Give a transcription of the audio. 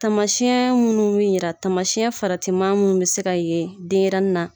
Tamasiyɛn minnu mi yira tamasiyɛn farati ma mun bi se ka yen denyɛrɛnin na